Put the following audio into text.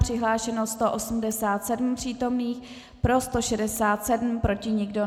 Přihlášeno 187 přítomných, pro 167, proti nikdo.